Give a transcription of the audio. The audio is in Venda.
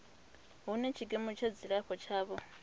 hune tshikimu tsha dzilafho tshavho